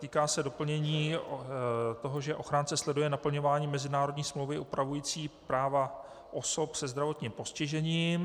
Týká se doplnění toho, že ochránce sleduje naplňování mezinárodní smlouvy upravující práva osob se zdravotním postižením.